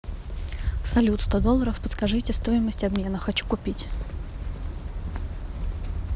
салют сто долларов подскажите стоимость обмена хочу купить